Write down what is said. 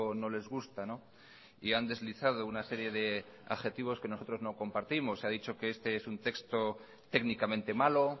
no les gusta y han deslizado una serie de adjetivos que nosotros no compartimos se ha dicho que este es un texto técnicamente malo